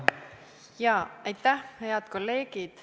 Head kolleegid!